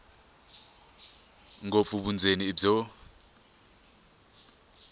ngopfu vundzeni i byo